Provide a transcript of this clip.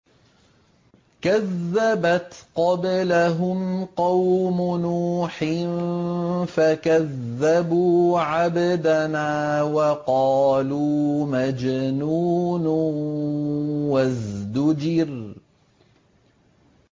۞ كَذَّبَتْ قَبْلَهُمْ قَوْمُ نُوحٍ فَكَذَّبُوا عَبْدَنَا وَقَالُوا مَجْنُونٌ وَازْدُجِرَ